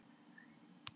Komdu hérna Lilla mín.